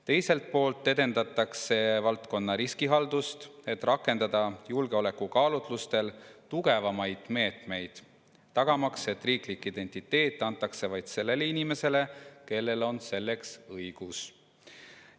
Teiselt poolt edendatakse valdkonna riskihaldust, et julgeolekukaalutlustel rakendada tugevamaid meetmeid, tagamaks, et riiklik identiteet antakse vaid sellele inimesele, kellel on selleks õigus.